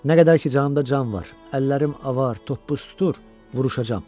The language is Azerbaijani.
Nə qədər ki, canımda can var, əllərim avar, toppuz tutur, vuruşacam.